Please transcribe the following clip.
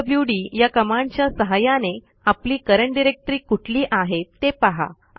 PWD या कमांडच्या सहाय्याने आपली करंट डायरेक्टरी कुठली आहे ते पहा